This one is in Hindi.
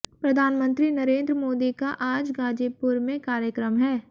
प्रधानमंत्री नरेन्द्र मोदी का आज गाजीपुर में कार्यक्रम है